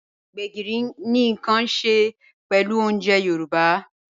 Gbegírí ni nkan ṣẹ pẹlú ọ̀unjè Yorùbá.